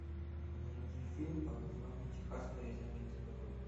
найди фильм под названием техасская резня бензопилой